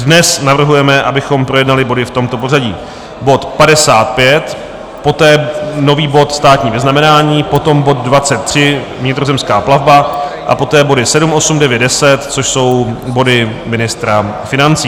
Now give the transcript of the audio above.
Dnes navrhujeme, abychom projednali body v tomto pořadí: bod 55, poté nový bod státní vyznamenání, potom bod 23, vnitrozemská plavba, a poté body 7, 8, 9, 10, což jsou body ministra financí.